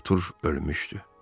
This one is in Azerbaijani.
Artur ölmüşdü.